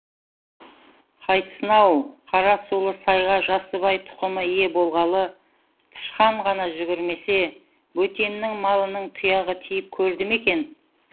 қайтсын ау қарасулы сайға жасыбай тұқымы ие болғалы тышқан ғана жүгірмесе бөтеннің малының тұяғы тиіп көрді ме екен